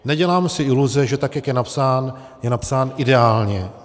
Nedělám si iluze, že tak jak je napsán, je napsán ideálně.